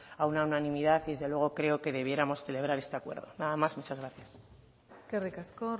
a una unanimidad y desde luego creo que debiéramos celebrar este acuerdo nada más muchas gracias eskerrik asko